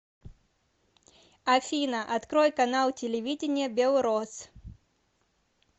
афина открой канал телевидения белрос